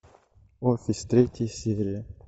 офис третья серия